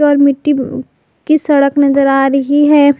और मिट्टी भी की सड़क नजर आ रही है।